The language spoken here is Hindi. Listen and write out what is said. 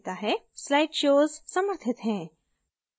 slideshows समर्थित हैं